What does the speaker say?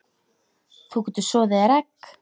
Þú getur soðið þér egg